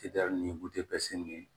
ni bu seli